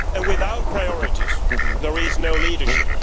Without priorities, there is no leadership.